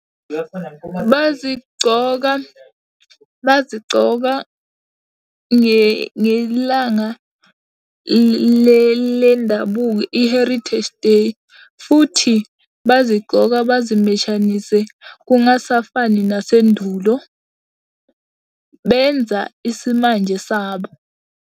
Bazigcoka bazigcoka ngelanga lendabuko i-Heritage Day, futhi bazigcoka bazimeshanise kungasafani nasendulo. Benza isimanje sabo.